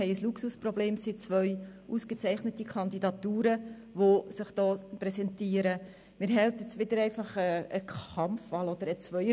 Bei 159 ausgeteilten und 159 eingegangenen Wahlzetteln, wovon leer 9 und ungültig 0, wird bei einem absoluten Mehr von 75 gewählt: